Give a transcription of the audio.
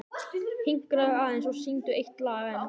Hinkraðu aðeins og syngdu eitt lag enn.